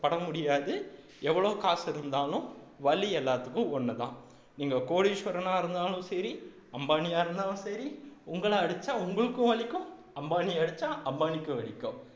பட முடியாது எவ்வளவு காசு இருந்தாலும் வலி எல்லாத்துக்கும் ஒண்ணுதான் நீங்க கோடீஸ்வரனா இருந்தாலும் சரி அம்பானியா இருந்தாலும் சரி உங்களை அடிச்சா உங்களுக்கும் வலிக்கும் அம்பானிய அடிச்சா அம்பானிக்கும் வலிக்கும்